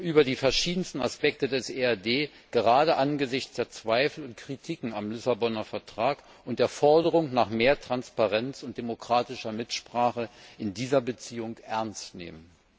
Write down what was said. über die verschiedensten Aspekte des EAD gerade angesichts der Zweifel und Kritiken am Lissaboner Vertrag und der Forderung nach mehr Transparenz und demokratischer Mitsprache in dieser Beziehung ernst nehmen.